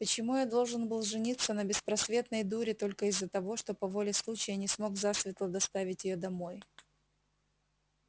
почему я должен был жениться на беспросветной дуре только из-за того что по воле случая не смог засветло доставить её домой